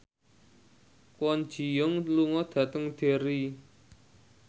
Kwon Ji Yong lunga dhateng Derry